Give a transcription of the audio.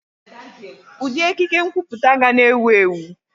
Ụdị ekike nkwuputa ga na-ewu ewu.